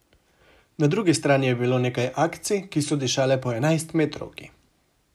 Na drugi strani je bilo nekaj akcij, ki so dišale po enajstmetrovki.